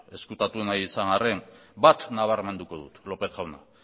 ezkutatu nahi izan arren bat nabarmenduko dut lópez jauna